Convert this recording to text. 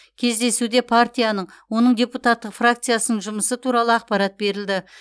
кездесуде партияның оның депутаттық фракциясының жұмысы туралы ақпарат берілді